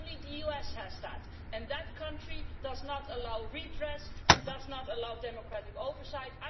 Only the US has that, and that country does not allow redress and does not allow democratic oversight.